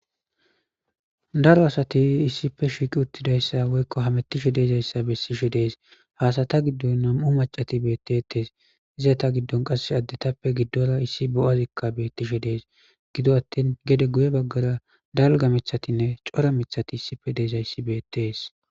Daro asati issippe shiiqi uttida issa woykko hamettishe diza issa bessishe dees. Ha asata giddon nam'u macati beettettes . Iza ta giddon qassi addetappe giddora issi bo'a asikka bettishe dees .Gidoppe attin gede guye baggara dalga mithatinne cora mithati issippe diza issi beettees.